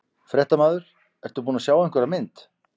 Fréttamaður: Ertu búin að sjá einhverja mynd?